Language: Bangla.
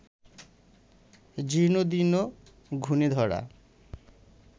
জীর্ণদীর্ণ, ঘুণেধরা